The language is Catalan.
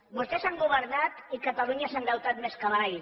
vostès han governat i catalunya s’ha endeutat més que mai